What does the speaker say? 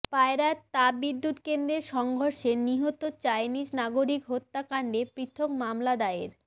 পায়রা তাপ বিদুৎ কেন্দ্রের সংঘর্ষে নিহত চাইনিজ নাগরিক হত্যা কান্ডে পৃথক মামলা দায়ের